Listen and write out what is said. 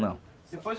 Não. Depois